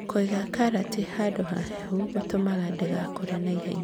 Kũiga karati handũ hahehu gũtũmaga ndĩgakũre na ihenya .